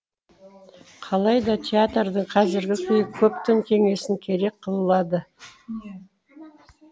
қалайда театрдың қазіргі күйі көптің кеңесін керек қылады